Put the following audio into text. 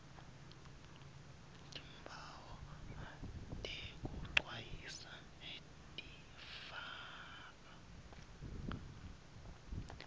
timphawu tekwecwayisa tifaka